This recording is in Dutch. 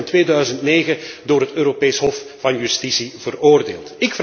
Malta werd in 2009 door het Europees Hof van Justitie veroordeeld.